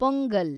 pongal